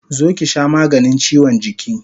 Zo ki sha maganin chiwon jiki!